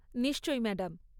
নিশ্চয়ই ম্যাডাম।